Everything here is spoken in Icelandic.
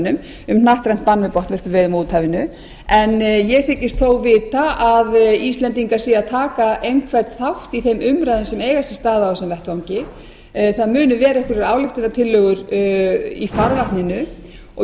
um hnattrænt bann við botnvörpuveiðum á úthafinu en ég þykist þó vita að íslendingar séu að taka einhvern þátt í þeim umræðum sem eiga sér stað á þessum vettvangi það muni vera einhverjar ályktunartillögur í farvatninu og